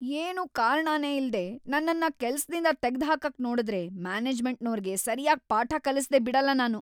ಏನೂ ಕಾರಣನೇ ಇಲ್ದೇ ನನ್ನನ್ನ ಕೆಲ್ಸದಿಂದ ತೆಗ್ದ್‌ಹಾಕಕ್‌ ನೋಡುದ್ರೆ ಮ್ಯಾನೇಜ್ಮೆಂಟ್ನೋರ್ಗೆ ಸರ್ಯಾಗ್‌ ಪಾಠ ಕಲಿಸ್ದೇ ಬಿಡಲ್ಲ ನಾನು.